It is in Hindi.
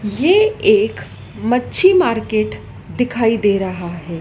ये एक मच्छी मार्केट दिखाई दे रहा है।